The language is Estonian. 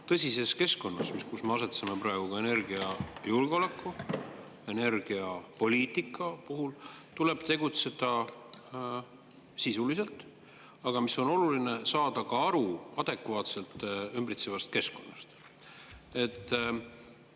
Tõsises keskkonnas, kus me asetseme praegu ka energiajulgeoleku, energiapoliitika osas, tuleb tegutseda sisuliselt, aga mis on oluline, tuleb ka ümbritsevast keskkonnast adekvaatselt aru saada.